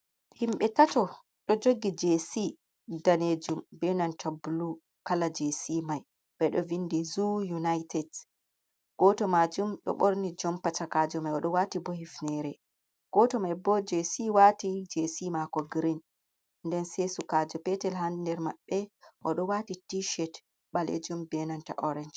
Himɓe tato, ɗo jogi jc daneejum, be nanta bulu, kala jc mai ɓeɗo vinɗi zuu unaitet, goto maajum ɗo ɓorni jompa shakajo mai o ɗo wati bo hifnere, goto mai bo jc wati jc maako girin, nden se sukajo petel Haa nder maɓɓe, o ɗo waati t shet ɓaleejum be nanta oransh.